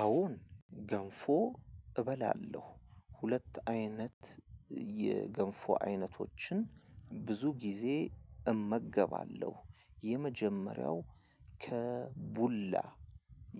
አወ ገንፎ እበላለሁ ሁለት አይነት የገንፎ አይነቶችን ብዙ ጊዜ እመገባለሁ። የመጀመሪያው ከቡላ